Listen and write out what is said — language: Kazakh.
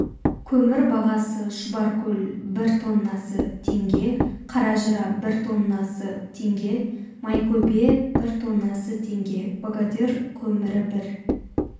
көмір бағасы шұбаркөл бір тоннасы теңге қаражыра бір тоннасы теңге майкөбе бір тоннасы теңге богатырь көмірібір